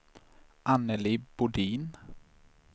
Anneli Bodin